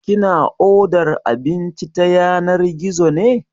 Kina odar abinci ta yanar gizo ne?